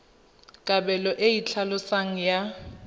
kabelo e e tlhaloswang ya